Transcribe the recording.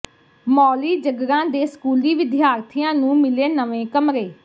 ਮੌਲੀ ਜੱਗਰਾਂ ਦੇ ਸਕੂਲੀ ਵਿਦਿਆਰਥੀਆਂ ਨੂੰ ਮਿਲੇ ਨਵੇਂ ਕਮਰੇ